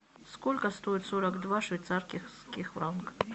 сколько стоит сорок два швейцарских франка